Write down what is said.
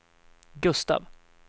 Gustav